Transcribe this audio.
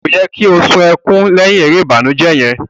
Ko yẹ ki o sun ẹkùn lẹhin èrè ìbànújẹ yẹn?